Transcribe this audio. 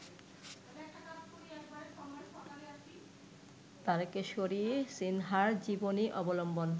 তারকেশ্বরী সিনহার জীবনী অবলম্বন